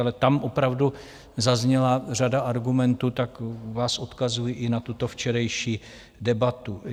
Ale tam opravdu zazněla řada argumentů, tak vás odkazuji i na tuto včerejší debatu.